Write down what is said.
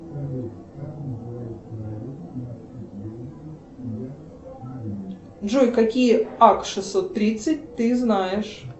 джой какие ак шестьсот тридцать ты знаешь